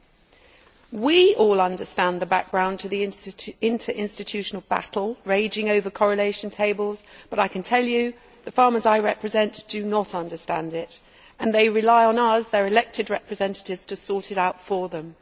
All of us here understand the background to the interinstitutional battle raging over correlation tables, but I can tell you that the farmers I represent do not understand it and they rely on us, their elected representatives, to sort it out for them.